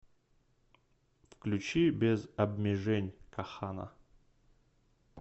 включи без обмежень кохана